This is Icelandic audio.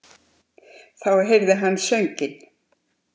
Þá heyrði hann sönginn.